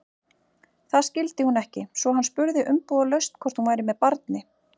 Það skildi hún ekki, svo hann spurði umbúðalaust hvort hún væri með barni.